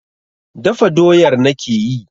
Dafa doyar nake yi.